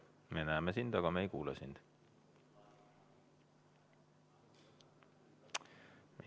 Me näeme sind, aga me ei kuule sind.